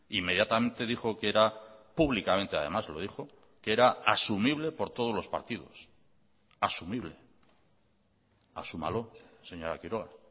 inmediatamente dijo que era públicamente además lo dijo que era asumible por todos los partidos asumible asúmalo señora quiroga